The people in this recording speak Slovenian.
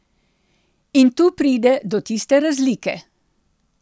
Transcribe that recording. In tu pride do tiste razlike.